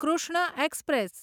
Krishna express